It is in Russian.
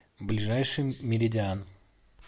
ближайший меридиан